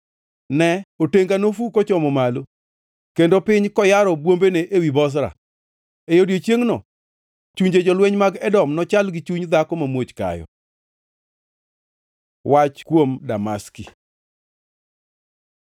Ne! Otenga nofu kochomo malo kendo piny koyaro bwombene ewi Bozra. E odiechiengno chunje jolweny mag Edom nochal gi chuny dhako mamuoch kayo. Wach kuom Damaski